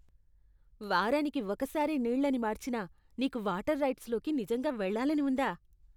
వారానికి ఒకసారే నీళ్ళని మార్చినా, నీకు వాటర్ రైడ్స్లోకి నిజంగా వెళ్ళాలని ఉందా?